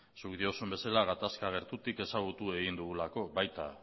zuk diozun bezala gatazka gertutik ezagutu egin dugulako baita